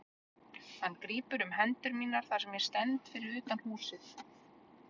Hann grípur um hendur mínar þar sem ég stend fyrir utan húsið.